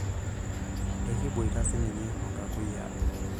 ekiboita sninye oo nkakuyiaa